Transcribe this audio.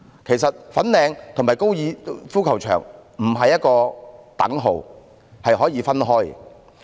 其實粉嶺與高爾夫球場不是一個等號，是可以分開的。